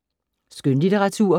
Skønlitteratur